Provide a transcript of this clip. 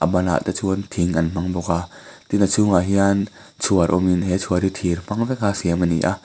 banah te chuan thing an hmang bawk a tin a chhungah hian chhuar awmin he chhuar hi thir hmang veka siam a ni a.